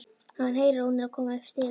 Hann heyrir að hún er að koma upp stigann.